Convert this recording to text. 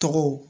Tɔgɔw